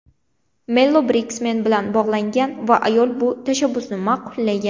Mello Briksmen bilan bog‘langan va ayol bu tashabbusni ma’qullagan.